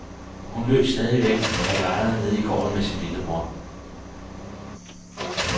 Hun løb stadigvæk og legede nede i gården med sin lillebror.